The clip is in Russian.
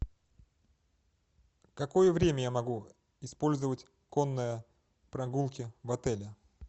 какое время я могу использовать конные прогулки в отеле